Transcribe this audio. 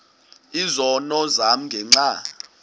izono zam ngenxa